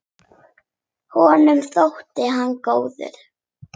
Honum þótti hún góð.